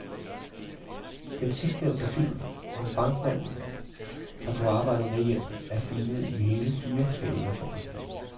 Den sidstnævnte film om bankmanden, der tog arbejde med hjem, er filmet i hele fire forskellige versioner.